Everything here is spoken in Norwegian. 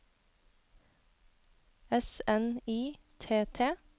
S N I T T